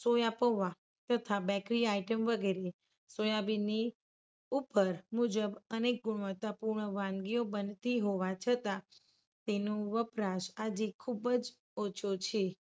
Soya પૌવા તથા bakery item વગેરે સોયાબીનની ઉપજ મુજબ અને ગુણવત્તા પૂર્ણ વાનગીઓ બનતી હોવા છતાં તેનો વપરાશ આજે ખૂબ જ ઓછો છે.